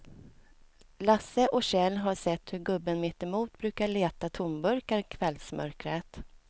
Lasse och Kjell har sett hur gubben mittemot brukar leta tomburkar i kvällsmörkret.